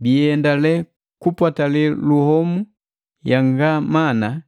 Biendale kupwatali luhomu yanga mana